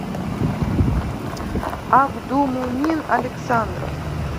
абдумумин александров